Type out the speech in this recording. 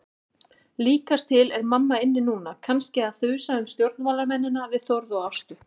Líkast til er mamma inni núna, kannski að þusa um stjórnmálamennina við Þórð og Ástu.